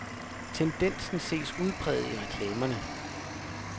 Tendensen ses udpræget i reklamerne.